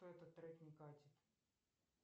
этот трек не катит